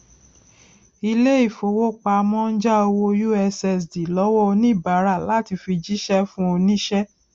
ilé ìfowópamọ ń já owó ussd lọwọ oníbàárà láì fi jíṣẹ fún oníṣẹ